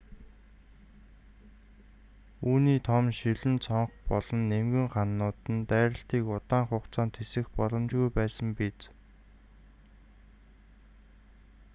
үүний том шилэн цонх болон нимгэн хананууд нь дайралтыг удаан хугацаанд тэсвэрлэх боломжгүй байсан биз